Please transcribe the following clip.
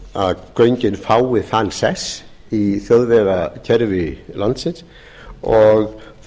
að göngin fái þann sess í þjóðvegakerfi landsins og